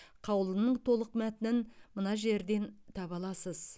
қаулының толық мәтінін мына жерден таба аласыз